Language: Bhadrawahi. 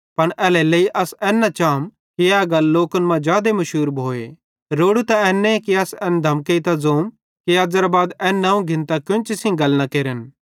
पन एल्हेरेलेइ अस एन न चाम कि ए गल लोकन मां जादे मुशूर न भोए रोड़ू त एन्ने कि अस एन धमकेइतां ज़ोम कि अज़ेरे बाद एन नवं घिन्तां केन्ची सेइं गल न केरन